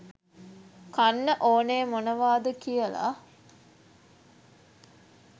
කන්න ඕනේ මොනවාද කියලා.